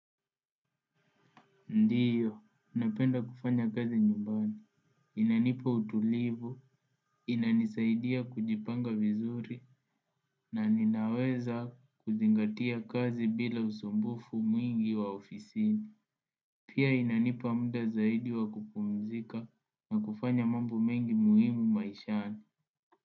Ndiyo. Napenda kufanya kazi nyumbani. Inanipa utulivu, inanisaidia kujipanga vizuri, na ninaweza kuzingatia kazi bila usumbufu mwingi wa ofisini. Pia inanipa muda zaidi wa kupumzika na kufanya mambo mengi muhimu maishani.